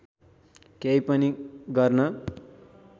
केही पनि गर्न